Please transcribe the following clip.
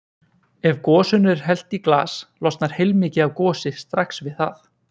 Ef gosinu er hellt í glas losnar heilmikið af gosi strax við það.